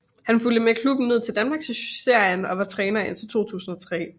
Han fulgte med klubben ned i Danmarksserien og var træner indtil 2003